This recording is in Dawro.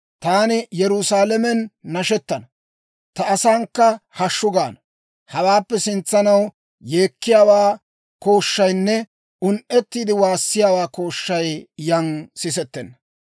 Taani Yerusaalamen nashettana; ta asankka hashshu gaana. Hawaappe sintsanaw yeekkiyaawaa kooshshaynne un"ettiide waassiyaawaa kooshshay yan sisettenna.